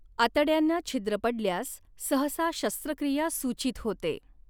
आतड्यांंना छिद्र पडल्यास सहसा शस्त्रक्रिया सूचित होते.